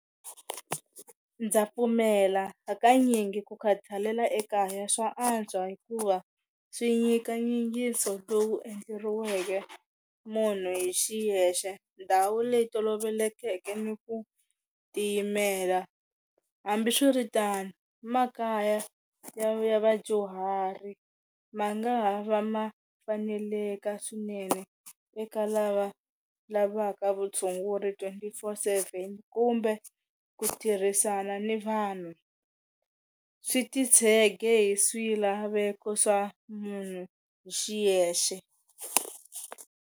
Ndza pfumela hakanyingi ku khathalela ekaya swa antswa hikuva swi nyika nyingiso lowu endleriweke munhu hi xiyexe ndhawu leyi tolovelekeke ni ku tiyimela hambiswiritano makaya ya vadyuhari ma nga ha va ma faneleka swinene eka lava lavaka vutshunguri twenty four seven kumbe ku tirhisana ni vanhu swi ti tshege hi swilaveko swa munhu hi xiyexe.